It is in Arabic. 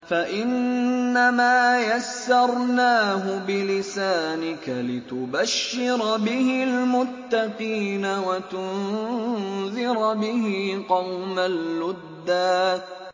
فَإِنَّمَا يَسَّرْنَاهُ بِلِسَانِكَ لِتُبَشِّرَ بِهِ الْمُتَّقِينَ وَتُنذِرَ بِهِ قَوْمًا لُّدًّا